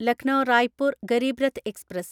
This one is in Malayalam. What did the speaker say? ലക്നോ റായ്പൂർ ഗരീബ് രത്ത് എക്സ്പ്രസ്